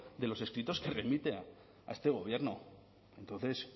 de los escritos que remite a este gobierno entonces